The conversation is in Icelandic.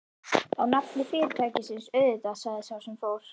Á nafni fyrirtækisins, auðvitað sagði sá sem fór.